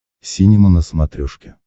синема на смотрешке